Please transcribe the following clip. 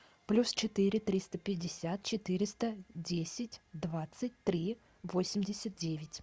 плюс четыре триста пятьдесят четыреста десять двадцать три восемьдесят девять